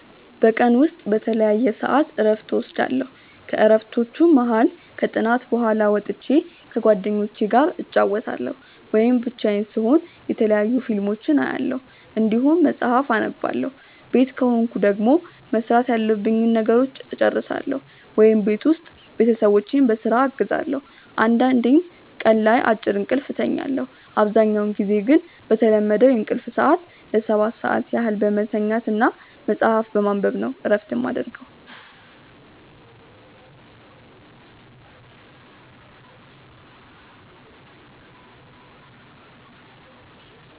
በቀን ውስጥ በተለያየ ሰዐት እረፍት እወስዳለሁ። ከእረፍቶቹም መሀል ከጥናት በኋላ ወጥቼ ከጓደኞቹ ጋር እጫወታለሁ ወይም ብቻዬን ስሆን የተለያዩ ፊልሞችን አያለሁ እንዲሁም መጽሐፍ አነባለሁ ቤት ከሆንኩ ደግሞ መስራት ያሉብኝን ነገሮች እጨርሳለሁ ወይም ቤት ውስጥ ቤተሰቦቼን በስራ አግዛለሁ አንዳንዴም ቀን ላይ አጭር እንቅልፍ እተኛለሁ። አብዛኛውን ጊዜ ግን በተለመደው የእንቅልፍ ሰዐት ለ7 ሰዓት ያህል በመተኛት እና መጽሀፍ በማንበብ ነው እረፍት የማረገው።